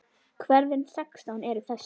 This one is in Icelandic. Hverfin sextán eru þessi